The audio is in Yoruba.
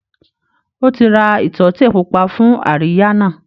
Ó ti ra ìtọ́tè pupa fún àríyá náà